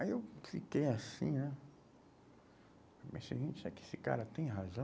Aí eu fiquei assim né, mas que esse cara tem razão?